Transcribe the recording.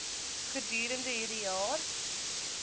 gedurende hierdie jaar